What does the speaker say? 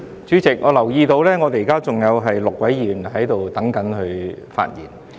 主席，我留意到現在仍有6位議員在輪候發言。